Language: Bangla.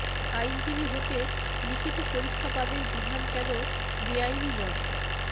আইনজীবী হতে লিখিত পরীক্ষা বাদের বিধান কেন বেআইনি নয়